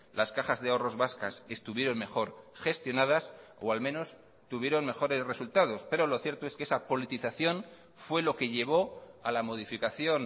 las cajas de ahorros vascas estuvieron mejor gestionadas o al menos tuvieron mejores resultados pero lo cierto es que esa politización fue lo que llevó a la modificación